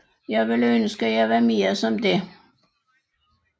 Jeg ville ønske jeg var mere som det